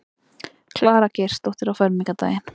Klara Geirsdóttir á fermingardaginn.